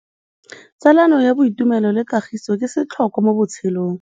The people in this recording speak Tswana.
Tsalano ya boitumelo le kagiso ke setlhôkwa mo botshelong.